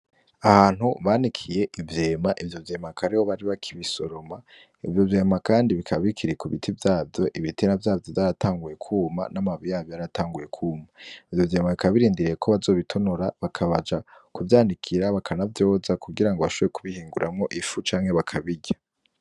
Ahantu banikiye ivyema ivyo vyema akaba ariho bari bakibisoroma ivyo vyema kandi bikaba bikiri kubiti vyavyo ibitera vyavyo vyaratanguye kwuma n'amababi yavyo yaratanguye kwuma, ivyo vyema bikaba birindiriyeko bazobitonora bakabasha kuvyanikira bakanavyoza kugirango bashobore kubihinguramwo ifu canke bakabirya.